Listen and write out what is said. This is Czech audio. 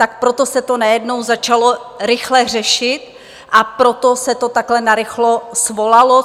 Tak proto se to najednou začalo rychle řešit a proto se to takhle narychlo svolalo.